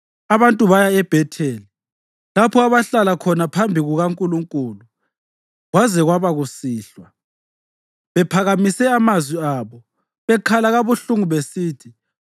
Abantu baya eBhetheli, lapho abahlala khona phambi kukaNkulunkulu kwaze kwaba kusihlwa, bephakamise amazwi abo bekhala kabuhlungu besithi,